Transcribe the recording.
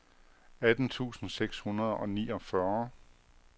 atten tusind seks hundrede og niogfyrre